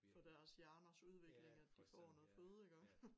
For deres hjerners udvikling iggå at de får noget føde iggå